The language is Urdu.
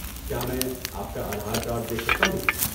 کیا میں آپ کا آدھار کارڈ دیکھ سکتا ہوں؟